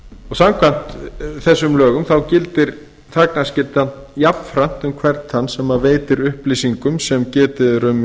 samkvæmt þessum lögum gildir þagnarskyldan jafnframt um hvern þann sem veitir upplýsingum sem getið er